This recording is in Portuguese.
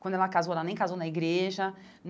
Quando ela casou, ela nem casou na igreja.